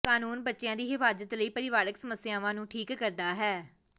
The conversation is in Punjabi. ਕਾਨੂੰਨ ਬੱਚਿਆਂ ਦੀ ਹਿਫਾਜ਼ਤ ਲਈ ਪਰਿਵਾਰਕ ਸਮੱਸਿਆਵਾਂ ਨੂੰ ਠੀਕ ਕਰਦਾ ਹੈ